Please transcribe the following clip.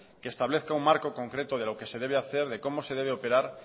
y establezca un marco concreto de lo que se debe hacer de cómo se debe operar